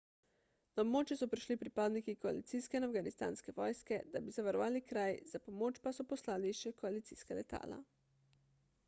na območje so prišli pripadniki koalicijske in afganistanske vojske da bi zavarovali kraj za pomoč pa so poslali še koalicijska letala